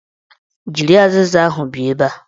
Jiri azịza ahụ bịa ebe a!